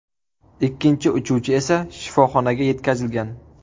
Ikkinchi uchuvchi esa shifoxonaga yetkazilgan.